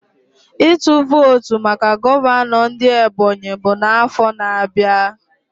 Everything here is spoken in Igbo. Ịtụ votu maka gọvanọ ndị Ebonyi bụ na afo na abịa